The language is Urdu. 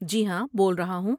جی ہاں، بول رہا ہوں۔